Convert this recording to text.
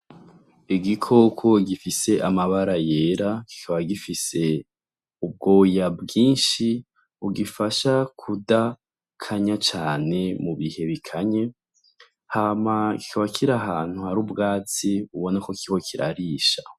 Igikoko gifise amabara yera kikaba gifise ubwoya bwinshi bugifasha kudakanya cane mu bihe bikanye , hama kikaba kiri ahantu hari ubwatsi ubona ko kiriko kirarisha.